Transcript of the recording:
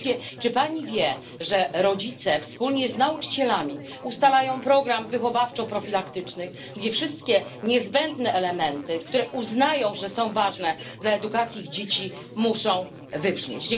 Wreszcie, czy pani wie, że rodzice wspólnie z nauczycielami ustalają program wychowawczo profilaktyczny, gdzie wszystkie niezbędne elementy, które uznają za ważne w edukacji ich dzieci, muszą wybrzmieć?